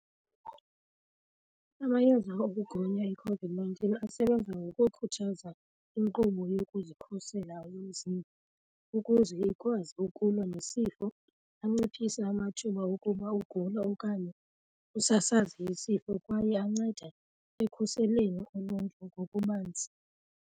Amayeza okugonya iCOVID-nineteen asebenza ngokukhuthaza inkqubo yokuzikhusela umzimba ukuze ikwazi ukulwa nesifo anciphise amathuba okuba ugule okanye usasaze isifo kwaye anceda ekukhuseleni uluntu ngokubanzi.